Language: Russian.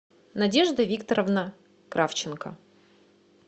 надежда викторовна кравченко